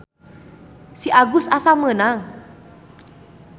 Si Agus asa meunang.